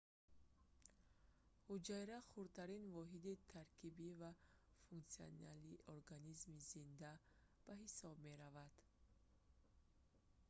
ҳуҷайра хурдтарин воҳиди таркибӣ ва функсионалии организми зинда мавҷудот ба ҳисоб меравад